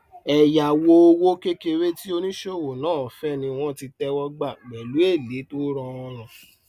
ẹyáwó òwò kékeré tí oníṣòwò náà fẹ ní wọn tí tẹwọ gbà pẹlú èlé tó rọrùn